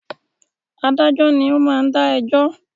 Adájọ́ ni o ma ń dá ẹjọ́